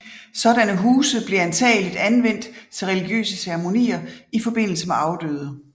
Sådanne huse blev antagelig anvendt til religiøse ceremonier i forbindelse med afdøde